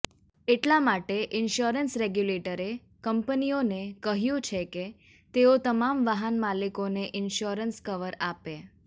એટલા માટે ઈન્શ્યોરન્સ રેગ્યુલેટરે કંપનીઓને કહ્યું છે કે તેઓ તમામ વાહન માલિકોને ઈન્શ્યોરન્સ કવર આપે